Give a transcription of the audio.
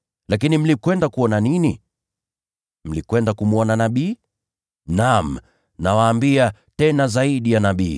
Lakini mlikwenda kuona nini? Mlikwenda kumwona nabii? Naam, nawaambia, yeye ni zaidi ya nabii.